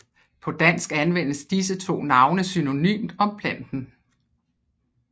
På dansk anvendes disse to navne synonymt om planten